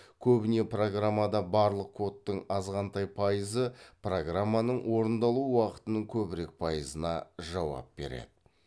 көбіне программада барлық кодтың азғантай пайызы программаның орындалу уақытының көбірек пайызына жауап береді